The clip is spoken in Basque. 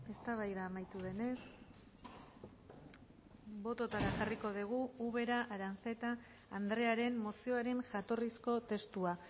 eztabaida amaitu denez bototara jarriko dugu ubera aranzeta andrearen mozioaren jatorrizko testua